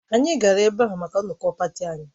Anyị gara ebe ahụ maka nnọkọ pati anyị